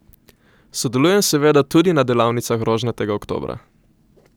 Sodelujem seveda tudi na delavnicah Rožnatega oktobra.